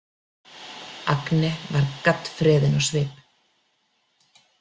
Agne varð gaddfreðin á svip.